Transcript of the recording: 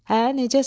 Hə, necəsən?